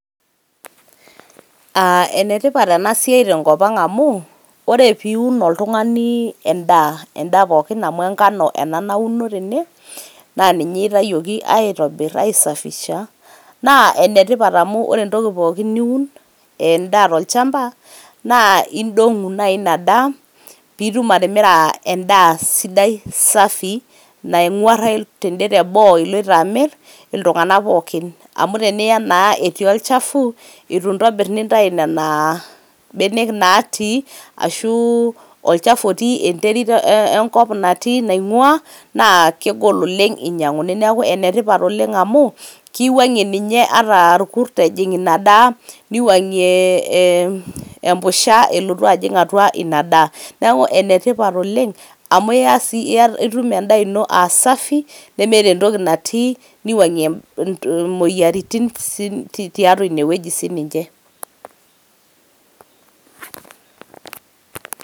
aa ene tipat ena siai tenkopang amu ore piun oltungani endaa ,endaa amu enkano ena nauno tene na ninye eitayioki aitobir aisafisha naa ene tipat amu ore entoki pookin niun endaa tolchamba naa idongu nai daa pitum atimira endaa aa sidai safi naingurayu ten`de te boo iloito amir iltunganak pookin .amu teniyaa naa etii olchafu itu intobir nintayu nena benek natii ashu olchafu otii enterit enkop natii nainguaa naa kegol oleng inyanguni .niaku ene tipat oleng amu kiwangie ninye ata irkurt ejing ina daa niwuangie ee empusha elotu ajing ina daa .neaku ene tipat oleng amu iya si itum endaa ino aa safi nemeeta entoki natii niwuangie imoyiaritin si tiatua ine wueji sininche .